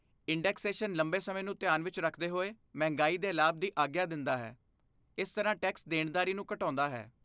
Indexation ਲੰਬੇ ਸਮੇਂ ਨੂੰ ਧਿਆਨ ਵਿੱਚ ਰੱਖਦੇ ਹੋਏ ਮਹਿੰਗਾਈ ਦੇ ਲਾਭ ਦੀ ਆਗਿਆ ਦਿੰਦਾ ਹੈ, ਇਸ ਤਰ੍ਹਾਂ ਟੈਕਸ ਦੇਣਦਾਰੀ ਨੂੰ ਘਟਾਉਂਦਾ ਹੈ।